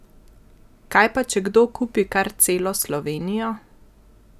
Kaj pa če kdo kupi kar celo Slovenijo?